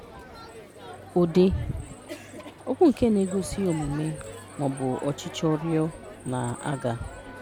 Ụdị: Okwu nke na-egosi omume ma ọ bụ ọchịchọ rịọ, na-aga.